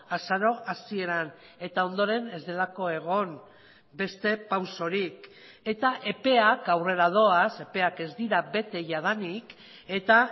azaro hasieran eta ondoren ez delako egon beste pausorik eta epeak aurrera doaz epeak ez dira bete jadanik eta